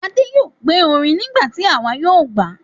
Adé yóò gbé orin nígbà tí àwa yóò gbà á.